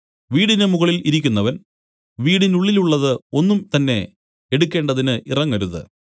വീടിന് മുകളിൽ ഇരിക്കുന്നവൻ വീടിനുള്ളിലുള്ളത് ഒന്നുംതന്നെ എടുക്കേണ്ടതിന് ഇറങ്ങരുത്